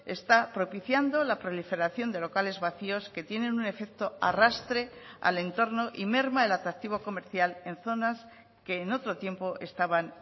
está propiciando la proliferación de locales vacíos que tienen un efecto arrastre al entorno y merma el atractivo comercial en zonas que en otro tiempo estaban